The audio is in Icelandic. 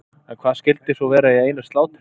En hvað skyldi svo vera í einu slátri?